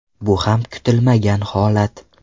Bu ham kutilmagan holat.